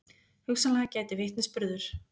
Hugsanlega gæti vitnisburður